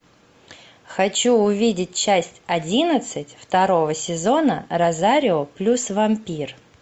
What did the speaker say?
хочу увидеть часть одиннадцать второго сезона розарио плюс вампир